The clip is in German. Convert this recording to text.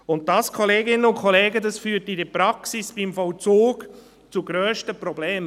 Und dies, Kolleginnen und Kollegen, führt in der Praxis beim Vollzug zu grössten Problemen.